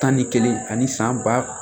Tan ni kelen ani san ba